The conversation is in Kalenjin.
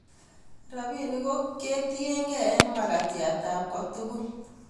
rabinik ko kitiengei eng' mkatiat ab kotugul